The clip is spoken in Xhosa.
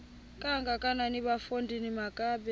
kangakanana bafondini makabe